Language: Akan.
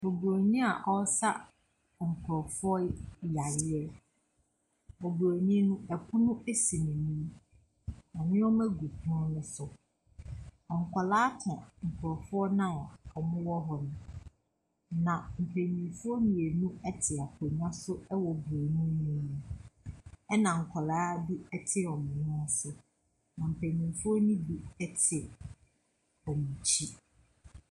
Broni a ɔsa nkrɔfoɔ yareɛ. Broni no, ɛpono asi n'anim. Nnoɔma gu pono no so. Nkɔlaa ka nkrɔfoɔ na ɔmo wɔ hɔ no. Na mpaninfoɔ mmienu ɛte akonya so ɛwɔ broni no anim ɛna nkɔlaa bi te ɔmo nan so. Mpanyinfo no bi ɛte ɔmo akyi.